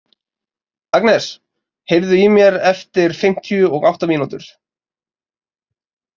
Agnes, heyrðu í mér eftir fimmtíu og átta mínútur.